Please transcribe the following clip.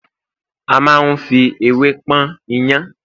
a ma n fi ewé pọn iyán